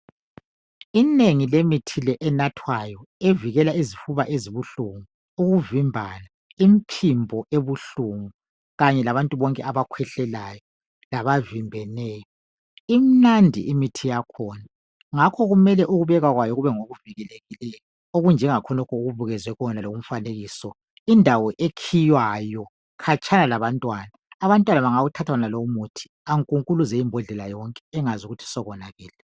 inengi lemithi le enathwa evikela izifuba ezibuhlungu ,ukuvimbana ,imphimbo ebuhlungu kanye labantu bonke abakhwehlelayo labavimbeneyo ,imnandi imithi yakhona ngakho ukubekwa kwayo kube ngokuvikelekileyo okunjengakhonokho okubukezwe kule umfanekiso ,indawo ekhiwayo khatshana labantwana, abantwana bangawuthatha wonalo umuthi ankunkuluze imbhodlela yonke engakwazi ukthi sekonakele